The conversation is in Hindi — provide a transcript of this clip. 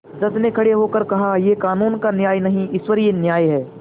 जज ने खड़े होकर कहायह कानून का न्याय नहीं ईश्वरीय न्याय है